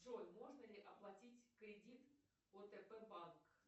джой можно ли оплатить кредит отп банк